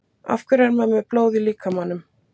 af hverju er maður með blóð í líkamanum